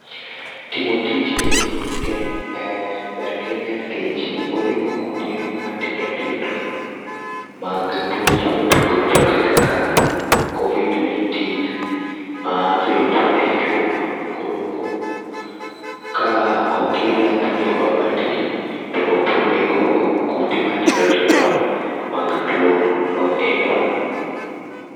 Timo tijni um ber ahinya nikech onego kute matindo tindo, mag tuoche mopogre opogore kaka covid nineteen, ma bet e chuma. Koro ka okir yadhni e mabati, to bronego kute matindo tindo mag tuo noendo